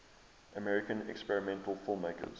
american experimental filmmakers